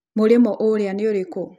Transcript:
Mũrĩmo ũrĩa nĩũrĩkũ?